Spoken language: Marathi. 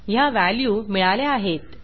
ह्या व्हॅल्यू मिळाल्या आहेत